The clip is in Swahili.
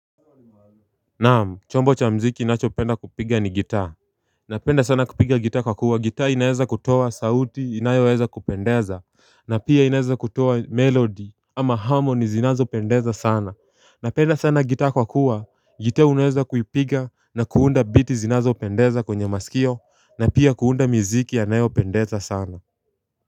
Naamu, chombo cha mziki inacho penda kupiga ni gitaa Napenda sana kupiga gitaa kwa kuwa, gitaa inaweza kutowa, sauti inayoweza kupendeza na pia inaweza kutowa melody ama harmony zinazo pendeza sana Napenda sana gitaa kwa kuwa, gitaa unaeza kuipiga na kuunda biti zinazo pendeza kwenye masikio na pia kuunda miziki yanayo pendeza sana.